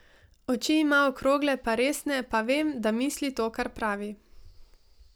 Oči ima okrogle pa resne pa vem, da misli to, kar pravi.